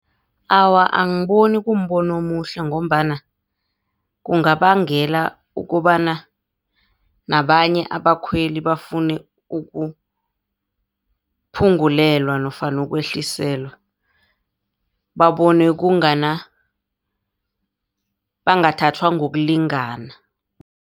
Awa, angiboni kumbono omuhle ngombana kungabangela ukobana nabanye abakhweli bafune ukuphungulelwa nofana ukwehliselwa. Babone kungana, bangathathwa ngokulingana.